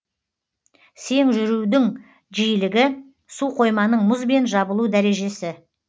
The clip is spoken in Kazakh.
сең жүрудің жиілігі суқойманың мұзбен жабылу дәрежесі